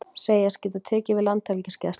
Segjast geta tekið við Landhelgisgæslunni